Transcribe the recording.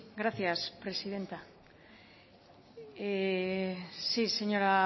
gracias presidenta sí señora